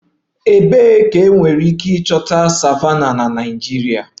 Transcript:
Ebee ka enwere ike ịchọta savannahs na Naịjirịa?